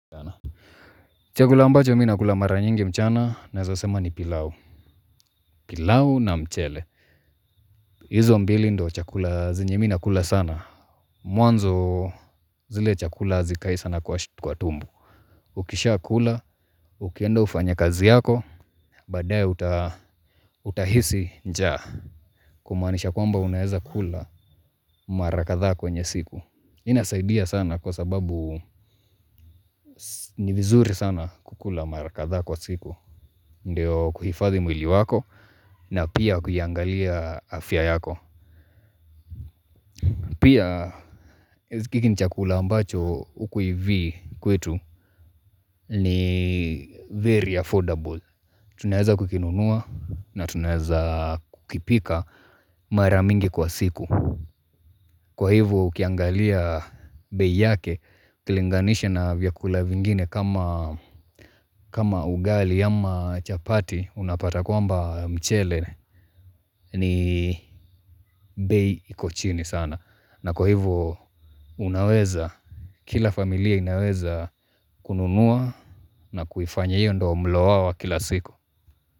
Chakula ambacho mimi nakula mara nyingi mchana naweza sema ni pilau. Pilau na mchele. Hizo mbili ndiyo chakula zenye mimi ninakula sana. Mwanzo zile chakula hazikai sana kwa tumbo. Ukishakula, ukienda ufanye kazi yako, baadaye utahisi njaa. Kumaanisha kwamba unaweza kula mara kadhaa kwenye siku. Inasaidia sana kwa sababu ni vizuri sana kukula mara kadhaa kwa siku. Ndiyo kuhifadhi mwili wako na pia kuiangalia afya yako. Pia hiki ni chakula ambacho huku hivi kwetu ni very affordable. Tunaweza kukinunua na tunaweza kukipika mara mingi kwa siku. Kwa hivo ukiangalia bei yake ukilinganisha na vyakula vingine kama kama ugali ama chapati unapata kwamba mchele ni bei iko chini sana na kwa hivo unaweza, kila familia inaweza kununua na kuifanya hiyo ndo mlo wao wa kila siku.